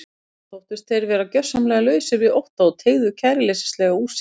Þá þóttust þeir vera gjörsamlega lausir við ótta og teygðu kæruleysislega úr sér.